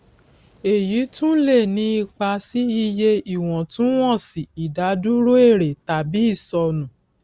èyí tún lè ní ipa sí iye ìwọtúnwọsì ìdádúró èrè tàbí ìsọnù